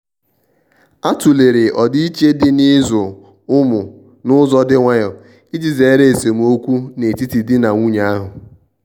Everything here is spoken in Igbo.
a tụ̀lere ọdiiche dị n'ịzụ ụmụ n'ụzọ dị nwayò iji zere esemokwu n'etiti di na nwunye ahu.